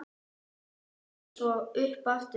Setti það svo upp aftur.